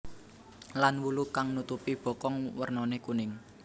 Lan wulu kang nutupi bokong wernané kuning